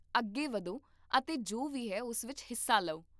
ਅੱਗੇ ਵਧੋ ਅਤੇ ਜੋ ਵੀ ਹੈ ਉਸ ਵਿੱਚ ਹਿੱਸਾ ਲਓ